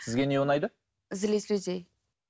сізге не ұнайды злить людей